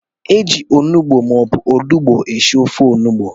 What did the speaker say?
Eji ọnụgbu maọbu ọlugbu esị ofe ọnụgbu.